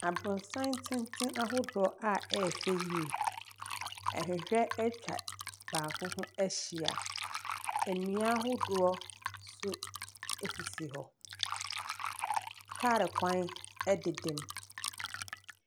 Aborɔsan tenten ahodoɔ a ɛyɛ fɛ yie. Nhwehwɛ atwa baako ho ahyia. Nnua ahodoɔ nso sisi hɔ. Kaa kwan deda mu.